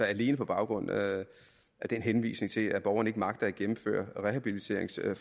alene på baggrund af den henvisning til at borgeren ikke magter at gennemføre et rehabiliteringsforløb